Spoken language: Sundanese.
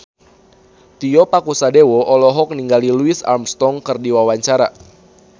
Tio Pakusadewo olohok ningali Louis Armstrong keur diwawancara